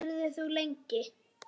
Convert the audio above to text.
Verður þú lengi?